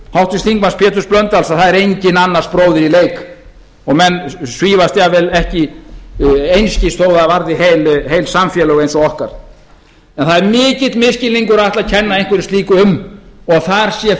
háttvirtur þingmaður péturs h blöndal að það er enginn annars bróðir í leik og menn svífast einskis þó það varði heil samfélög eins og okkar en það er mikill misskilningur að ætla að kenna einhverju slíku um að þar sé